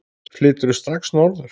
Flyturðu strax norður?